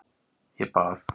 Ég bað.